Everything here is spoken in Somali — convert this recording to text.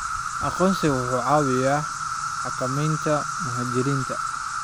Aqoonsigu wuxuu caawiyaa xakameynta muhaajiriinta.